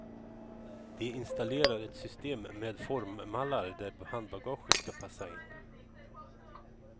De installerar ett system med formmallar där handbagaget ska passa in.